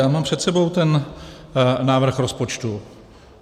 Já mám před sebou ten návrh rozpočtu.